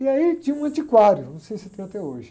E aí tinha um antiquário, não sei se tem até hoje.